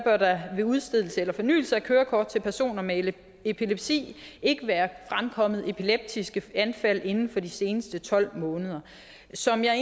ved udstedelse eller fornyelse af kørekort til personer med epilepsi ikke være fremkommet epileptiske anfald inden for de seneste tolv måneder som jeg